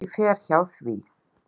Ekki fer hjá því.